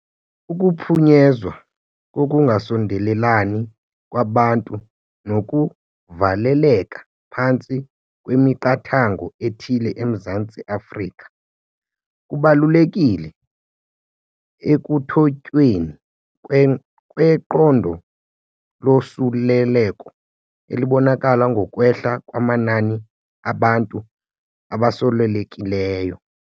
Ukuphunyezwa kokungasondelelani kwabantu nokuvaleleka phantsi kwemiqathango ethile eMzantsi Afrika kubalulekile ekuthotyweni kweqondo losuleleko, elibonakala ngokwehla kwamanani abantu abosulelekileyo.